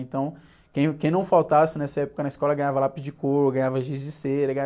Então quem, quem não faltasse nessa época na escola ganhava lápis de cor, ganhava giz de cera.